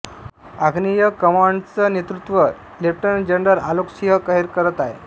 आग्नेय कमांडच नेत्रुत्व ले जनरल आलोक सिंह खैैर करत आहे